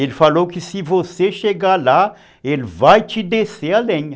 Ele falou que se você chegar lá, ele vai te descer a lenha.